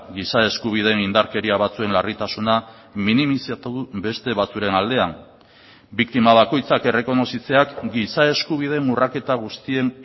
giza eskubideen indarkeria batzuen larritasuna minimizatu beste batzuen aldean biktima bakoitzak errekonozitzeak giza eskubideen urraketa guztien